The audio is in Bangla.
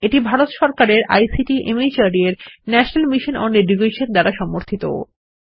এটি ভারত সরকারের আইসিটি মাহর্দ এর ন্যাশনাল মিশন ওন এডুকেশন দ্বারা সমর্থিত